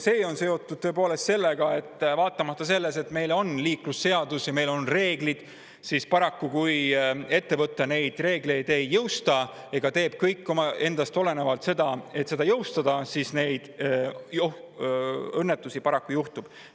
See on seotud sellega, et vaatamata sellele, et meil on liiklusseadus ja meil on reeglid, paraku siis, kui ettevõte neid reegleid ei jõusta ega tee kõike endast olenevat nende jõustamiseks, ikka õnnetusi juhtub.